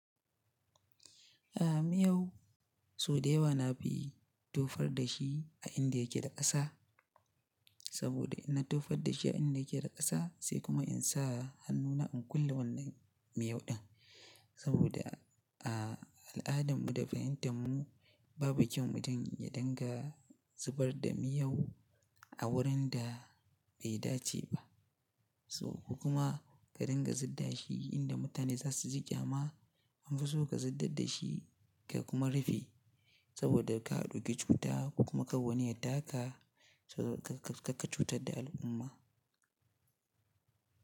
Aha miyau so da yawa na fi tofar da shi a inda yake da ƙasa. Saboda in na tofar da shi a inda yake da ƙasa sai kuma in sa hannuna in kulle wannan miyau ɗin. Saboda a al'adan mu da fahimtar mu babu kyau mutum ya dinga zubar da miyau a wurin da bai dace ba. So ko kuma ka dinga zubar da shi inda mutane za su ji kyama an fi so ka zubar da shi ka kuma rufe saboda ka ɗauki cuta ko kuma kar wani ya taka saboda kar ka fita ka cutar da al'umma.